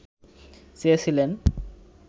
চেয়েছিলেন